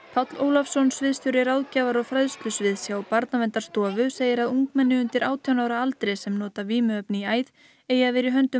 Páll Ólafsson sviðsstjóri ráðgjafar og fræðslusviðs hjá Barnaverndarstofu segir að ungmenni undir átján ára aldri sem nota vímuefni í æð eigi að vera í höndum